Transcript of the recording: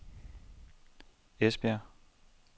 Esbjerg